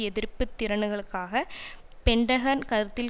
எதிர்ப்பு திறன்களுக்காக பென்டகன் கருத்தில்